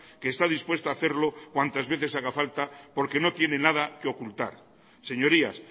que está dispuesto a hacerlo cuantas veces haga falta porque no tiene nada que ocultar señorías